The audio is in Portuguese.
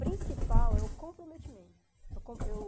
Principal é o comprometimento. O com eu